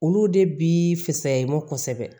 Olu de bi fisaya i ma kosɛbɛ